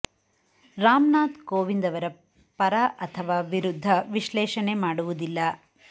ರಾಮ್ ನಾಥ್ ಕೋವಿಂದ್ ಅವರ ಪರ ಅಥವಾ ವಿರುದ್ಧ ವಿಶ್ಲೇಷಣೆ ಮಾಡುವುದಿಲ್ಲ